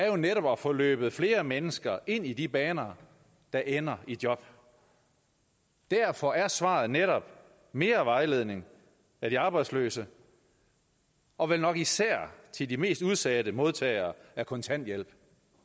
jo netop er at få løbet flere mennesker ind i de baner der ender i job derfor er svaret netop mere vejledning af de arbejdsløse og vel nok især til de mest udsatte modtagere af kontanthjælp